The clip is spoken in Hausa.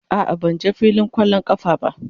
A'a, ban je filin kwallon kafa ba.